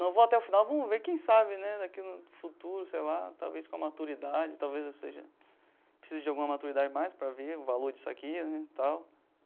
Não, vou até o final, vamos ver, quem sabe né daqui no futuro, sei lá, talvez com a maturidade, talvez eu seja precise de alguma maturidade mais para ver o valor disso aqui né tal.